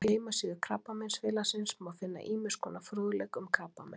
Á heimasíðu Krabbameinsfélagsins má finna ýmiss konar fróðleik um krabbamein.